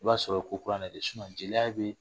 I b'a sɔrɔ o ye ko kura de jeliya be